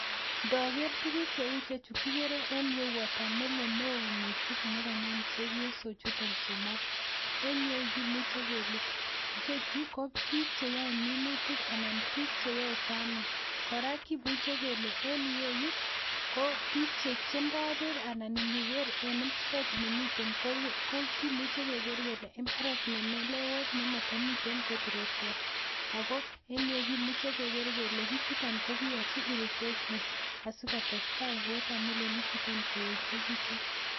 Ndaker tuguuk che uu chuu [watermelon] nekanam chepyosook chutoon somok en ireyuu kimuchei kele biik che yae minutiik anan biik che yae [farming] kora kimuchei kele biik che yae en ireyuu biik che ndaa beek anan iniger biik che ndaa beek keger kele mbaret ne meleweet ne mamii akoot ropta kimuchei kele keger kole biik chutoon ko koyachii [irrigation] asiko tesetai [watermelon] ichutoon koyechekituun.